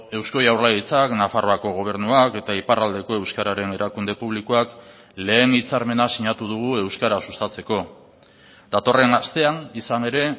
eusko jaurlaritzak nafarroako gobernuak eta iparraldeko euskararen erakunde publikoak lehen hitzarmena sinatu dugu euskara sustatzeko datorren astean izan ere